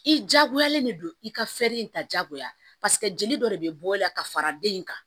I jagoyalen de don i ka in ta jagoya jeli dɔ de bɛ bɔ i la ka fara den in kan